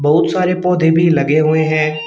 बहुत सारे पौधे भी लगे हुए है।